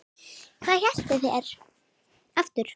Hvað hétu þeir aftur?